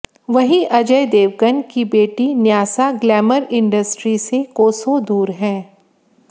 वहीं अजय देवगन की बेटी न्यासा ग्लैमर इंडस्ट्री से कोसों दूर हैं